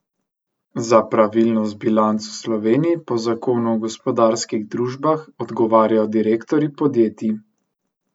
Za pravilnost bilanc v Sloveniji po zakonu o gospodarskih družbah odgovarjajo direktorji podjetij.